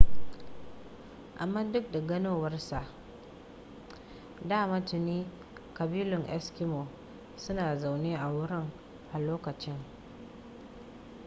amma duk da ganowar sa dama tuni ƙabilun eskimo suna zaune a wurin a lokacin